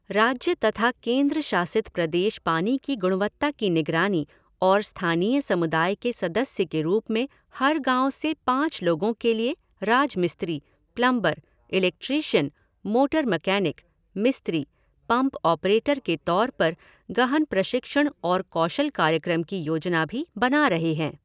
राज्य तथा केंद्र शासित प्रदेश पानी की गुणवत्ता की निगरानी और स्थानीय समुदाय के सदस्य के रूप में हर गाओ से पाँच लोगों के लिए राजमिस्त्री, प्लंबर, इलेक्ट्रीशियन, मोटर मकैनिक, मिस्त्री, पम्प ऑपरेटर के तौर पर गहन प्रशिक्षण और कौशल कार्यक्रम की योजना भी बना रहे हैं।